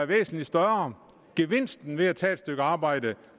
væsentlig større gevinsten ved at tage et stykke arbejde